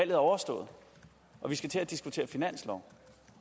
er overstået og vi skal til at diskutere finanslov